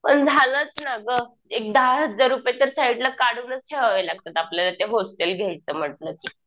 पण झालंच ना गं. एक दहा हजार रुपये तर साईडला काढूनच ठेवावे लागतात आपल्याला ते हॉस्टेल घ्यायचं म्हटलं कि.